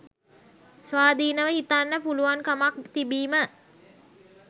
ස්වාධීනව හිතන්න පුළුවන්කමක් තිබීම.